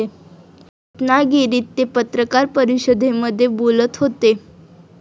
रत्नागिरीत ते पत्रकार परिषदेमध्ये बोलत होते.